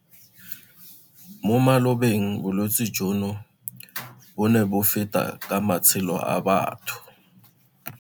Mo malobeng bolwetse jono bo ne bo feta ka matshelo a batho.